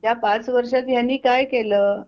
त्या पाच वर्षांत ह्यांनी काय केलं?